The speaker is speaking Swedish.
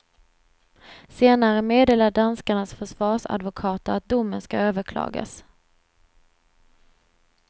Senare meddelade danskarnas försvarsadvokater att domen ska överklagas.